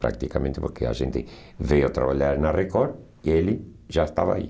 Praticamente porque a gente veio trabalhar na Record e ele já estava aí.